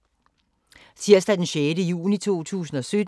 Tirsdag d. 6. juni 2017